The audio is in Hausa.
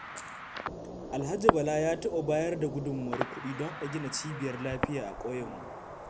Alhaji Bala ya taɓa bayar da gudummawar kuɗi don a gina cibiyar lafiya a ƙauyenmu.